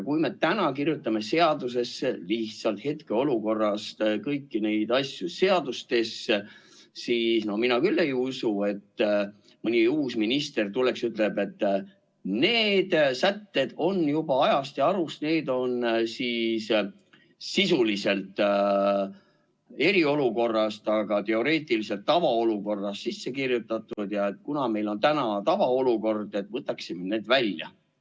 Kui me täna kirjutame lihtsalt hetkeolukorrast lähtudes kõiki neid asju seadustesse, siis mina küll ei usu, et mõni uus minister tuleb ja ütleb, et need sätted on juba ajast ja arust, need on sisuliselt eriolukorra sätted, aga teoreetiliselt tavaolukorras sisse kirjutatud ja kuna meil nüüd on tavaolukord, siis võtame need välja.